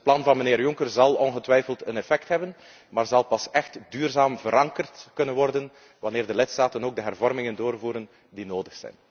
Dus het plan van mijnheer Juncker zal ongetwijfeld effect hebben, maar zal pas echt duurzaam verankerd kunnen worden wanneer de lidstaten ook de hervormingen doorvoeren die nodig zijn.